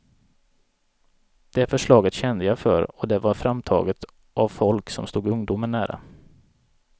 Det förslaget kände jag för, och det var framtaget av folk, som stod ungdomen nära.